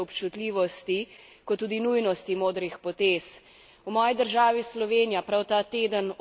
V moji državi Sloveniji prav ta teden odločamo o nadaljnjih korakih k priznanju palestinske države.